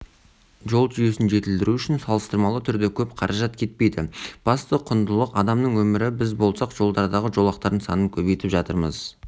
жол жүйесін жетілдіру үшін салыстырмалы түрде көп қаражат кетпейді басты құндылық адамның өмірі біз болсақ жолдардағы жолақтардың санын көбейтіп жатырмыз